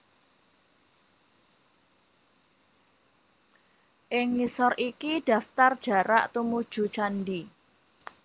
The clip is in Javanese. Ing ngisor iki daftar jarak tumuju candhi